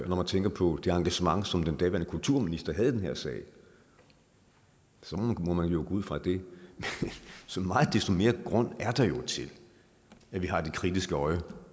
når man tænker på det engagement som den daværende kulturminister havde i den her sag så må man jo gå ud fra det så meget desto mere grund er der jo til at vi har det kritiske øje